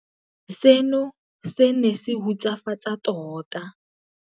Seno se ne se hutsafatsa tota.